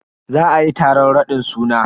Za ayi taron raɗin suna.